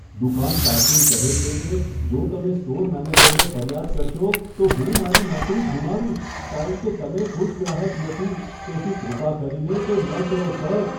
દુકાન કારકુન કહે છે કે, જો તમે સ્ટોર મેનેજરને ફરિયાદ કરશો, તો હું મારી નોકરી ગુમાવીશ કારણ કે તમે ખુશ ગ્રાહક નથી, તેથી કૃપા કરીને તે ન કરો, સર.